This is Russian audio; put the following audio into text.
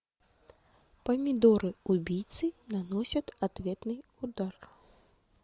помидоры убийцы наносят ответный удар